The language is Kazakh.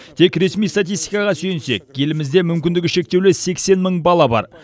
тек ресми статистикаға сүйенсек елімізде мүмкіндігі шектеулі сексен мың бала бар